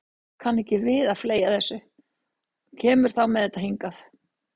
Fólk kann ekki við að fleygja þessu og kemur þá með þetta hingað.